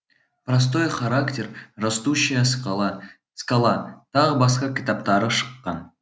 простой характер растущая скала скала тағы басқа кітаптары шыққан